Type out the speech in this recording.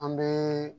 An bɛ